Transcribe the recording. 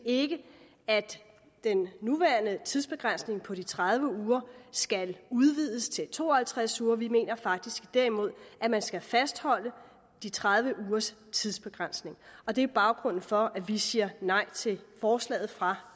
at den nuværende tidsbegrænsning på de tredive uger skal udvides til to og halvtreds uger vi mener faktisk derimod at man skal fastholde de tredive ugers tidsbegrænsning og det er baggrunden for at vi siger nej til forslaget fra